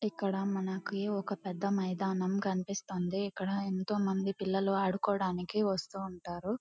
ఇక్కడ మనకి ఒక పెద్ద మైదానం కనిపిస్తుంది. ఇక్కడ ఎంతోమంది పిల్లలు ఆడుకోడానికి వస్తు ఉంటారు.